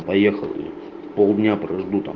поехал полдня проведу там